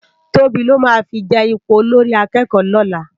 Tobi lò má fi je ipó ólórì àkèkò lòlá